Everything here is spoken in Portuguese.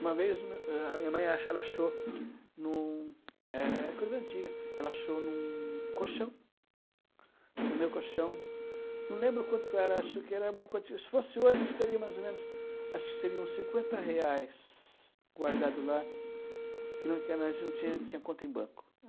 Uma vez a minha mãe ela ela achou, em um é coisa antiga, ela achou em um colchão, no meu colchão, não lembro o quanto era, acho que era uma quantia, se fosse hoje, acho que daria mais o menos, acho que seria uns cinquenta reais guardado lá, que antes nós não tinha não tinha conta em banco.